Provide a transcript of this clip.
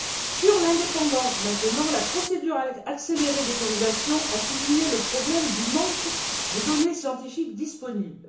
Concernant l'indépendance, la procédure accélérée d'autorisation a souligné le problème du manque de données scientifiques disponibles.